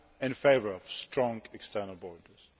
I am in favour of strong external borders